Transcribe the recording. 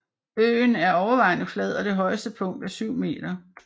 Øen er overvejende flad og det højeste punkt er 7 meter